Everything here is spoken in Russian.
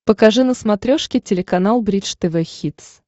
покажи на смотрешке телеканал бридж тв хитс